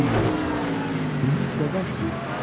Mənim olsanız, məni sevərsiniz.